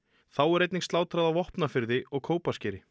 þá er einnig slátrað á Vopnafirði og Kópaskeri